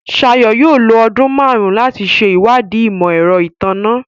Shayo yóò lo ọdun márùn láti ṣe ìwádìí imọ-ẹrọ ìtanná